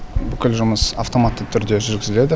бүкіл жұмыс автоматты түрде жүргізіледі